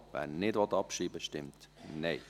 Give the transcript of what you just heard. wer diesen nicht abschreiben will, stimmt Nein.